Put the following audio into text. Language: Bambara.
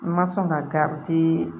N ma sɔn ka garidi